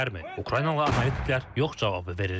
Ukraynalı analitiklər yox cavabı verirlər.